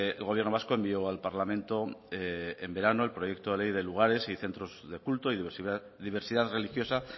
el gobierno vasco envió al parlamento en verano el proyecto de ley de lugares y centros de culto y diversidad religiosa